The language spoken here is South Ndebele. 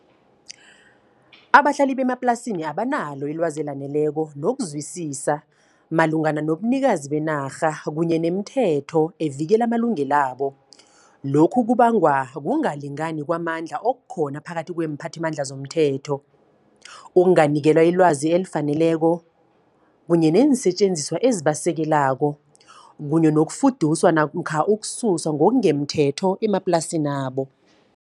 Abahlali bemaplasini abanalo ilwazi elaneleko, nokuzwisisa, malungana nobunikazi benarha kunye nemthetho evikela amalungelabo. Lokhu kubangwa, kungalingani kwamandla okukhona phakathi kweemphathimandla zomthetho. Ukunganikelwa ilwazi elifaneleko, kunye neensetjenziswa ezibasekelako. Kunye nokufuduswa, namkha ukususwa ngongemthetho emaplasinabo.